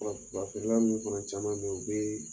Wa ba feerela munnu fana caaman be ye u bee